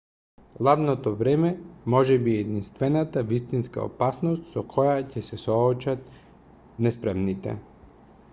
ладното време можеби е единствената вистинска опасност со која ќе се соочат неспремните